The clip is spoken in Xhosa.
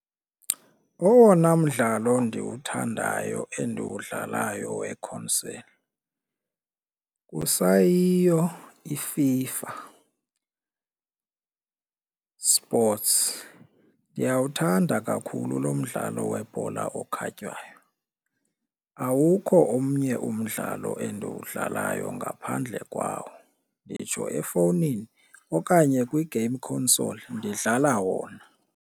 Owona mdlalo ndiwuthandayo endiwudlalayo wekhonseli kusayiyo iFIFA sports, ndiyawuthanda kakhulu lo mdlalo webhola okhatywayo. Awukho omnye umdlalo endiwudlalayo ngaphandle kwawo, nditsho efowunini okanye kwi-game console ndidlala wona.